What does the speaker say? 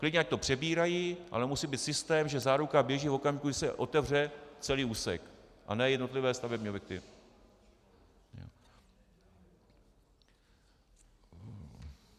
Klidně ať to přebírají, ale musí být systém, že záruka běží v okamžiku, kdy se otevře celý úsek, a ne jednotlivé stavební objekty.